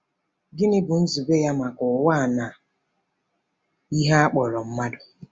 Gịnị bụ nzube ya maka ụwa na ihe a kpọrọ mmadụ?